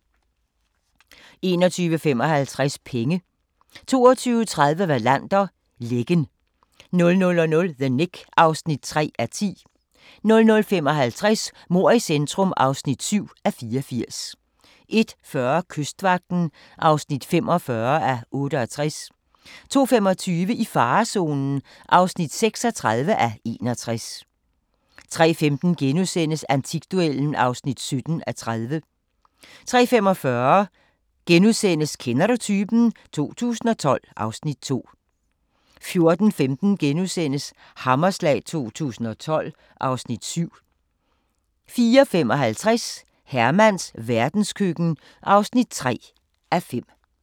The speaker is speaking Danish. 21:55: Penge 22:30: Wallander: Lækken 00:00: The Knick (3:10) 00:55: Mord i centrum (7:84) 01:40: Kystvagten (45:68) 02:25: I farezonen (36:61) 03:15: Antikduellen (17:30)* 03:45: Kender du typen? 2012 (Afs. 2)* 04:15: Hammerslag 2012 (Afs. 7)* 04:55: Hermans verdenskøkken (3:5)